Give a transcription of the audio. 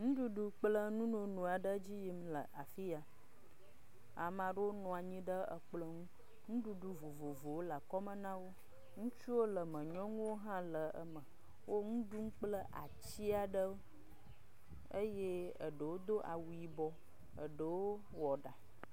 Nuɖuɖu kple nununu aɖe…